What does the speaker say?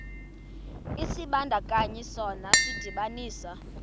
isibandakanyi sona sidibanisa